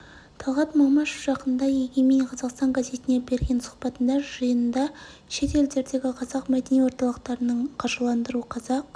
талғат мамашев жақында егемен қазақстан газетіне берген сұхбатында жиында шет елдердегі қазақ мәдени орталықтарын қаржыландыру қазақ